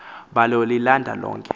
balo lilanda lonke